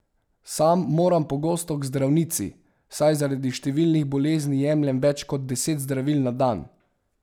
Sam moram pogosto k zdravnici, saj zaradi številnih bolezni jemljem več kot deset zdravil na dan.